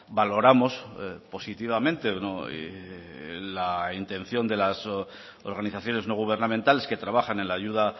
valoramos positivamente la intención de las organizaciones no gubernamentales que trabajan en la ayuda